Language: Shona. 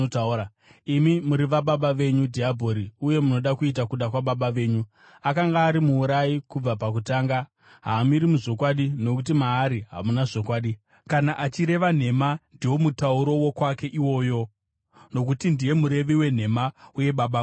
Imi muri vababa venyu, dhiabhori, uye munoda kuita kuda kwababa venyu. Akanga ari muurayi kubva pakutanga, haamiri muzvokwadi, nokuti maari hamuna zvokwadi. Kana achireva nhema, ndiwo mutauro wokwake iwoyo, nokuti ndiye murevi wenhema uye Baba vadzo.